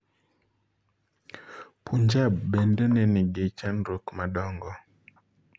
Punjab bende nenigi chandruok madongo.